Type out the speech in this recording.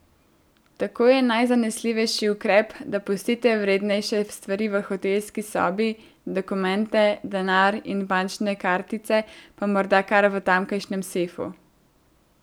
Tako je najzanesljivejši ukrep, da pustite vrednejše stvari v hotelski sobi, dokumente, denar in bančne kartice pa morda kar v tamkajšnjem sefu.